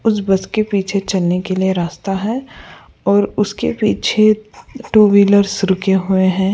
उस बस के पीछे चलने के लिए रास्ता है और उसके पीछे टू व्हीलर्स रुके हुए हैं।